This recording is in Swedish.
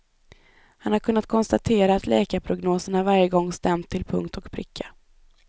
Han har kunnat konstatera att läkarprognoserna varje gång stämt till punkt och pricka.